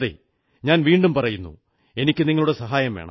ഞാൻ വീണ്ടും പറയുന്നു എനിക്കു നിങ്ങളുടെ സഹായം വേണം